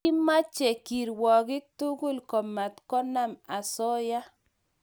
Kimache kirwakik tugul komatkonamosoya